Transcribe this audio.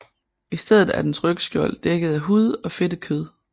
I stedet er dens rygskjold dækket af hud og fedtet kød